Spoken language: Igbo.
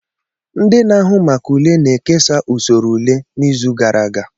Ndị na-ahụ maka ule na-ekesa usoro ule n'izu gara aga.